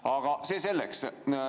Aga see selleks.